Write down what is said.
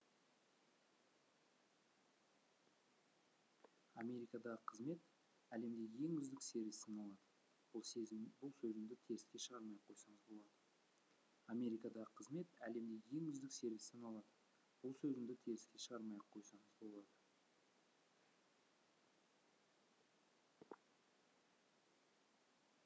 америкадағы қызмет әлемдегі ең үздік сервис саналады бұл сөзімді теріске шығармай ақ қойсаңыз болады америкадағы қызмет әлемдегі ең үздік сервис саналады бұл сөзімді теріске шығармай ақ қойсаңыз болады